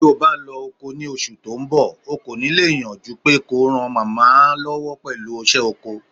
Tó'ba lọ́'ko ni oṣù tó ńbọ̀, o kò ní lè yàn jupé kó ran màmá lọ́wọ́ pẹ̀lú ìṣe ọkọ.